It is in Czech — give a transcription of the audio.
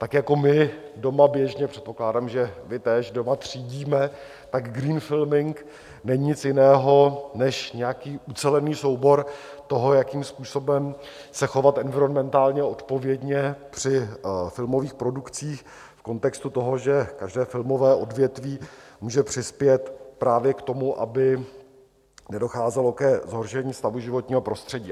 Tak jako my doma běžně, předpokládám, že vy též doma, třídíme, tak green filming není nic jiného než nějaký ucelený soubor toho, jakým způsobem se chovat environmentálně odpovědně při filmových produkcích v kontextu toho, že každé filmové odvětví může přispět právě k tomu, aby nedocházelo ke zhoršení stavu životního prostředí.